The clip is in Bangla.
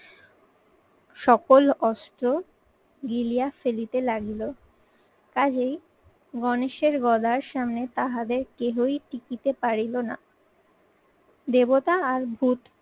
সকল অস্ত্র গিলিয়া ফেলিতে লাগলো। কাজেই গণেশের গদার সামনে তাহাদের কেহই টিকিতে পারিল না। দেবতা আর ভূত